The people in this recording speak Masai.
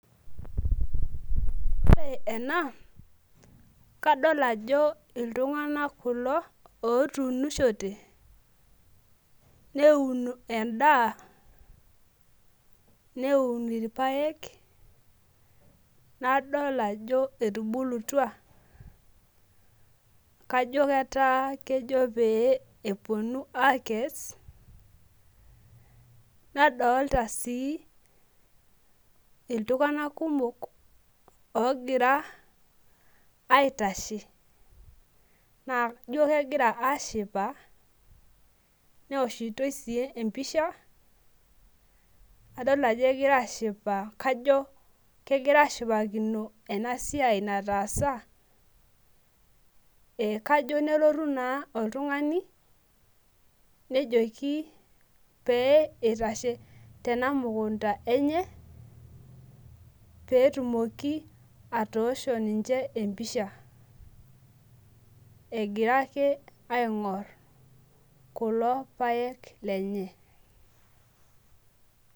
ore ena na kadol ajo iltunganak kulo otunishote, neun endaa neun ilpaek, nadol ajo etubulutua, kajo keeta kejo peyie eponu akes, nadolta si iltunganak kumok, ongira aitashe na ijio kengira ashipa neoshitoi si episha, adol ajo kengira ashipa neoshitoi si empisha kajo kengira ashipakino esiai nataasa, kajo nelotu na oltungani nejoki, peitashe tena mukunda enye, petumoki atosho ninche empisha, engira ake aingorr kulo paek lenye.